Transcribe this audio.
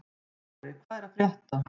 Smári, hvað er að frétta?